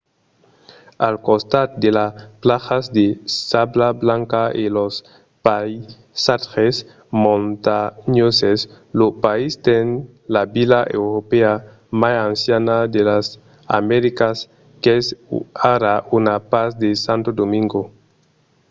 al costat de las plajas de sabla blanca e los païsatges montanhoses lo país ten la vila europèa mai anciana de las americas qu’es ara una part de santo domingo